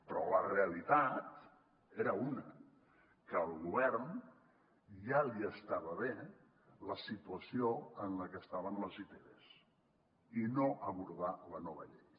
però la realitat era una que al govern ja li estava bé la situació en la que estaven les itvs i no abordar la nova llei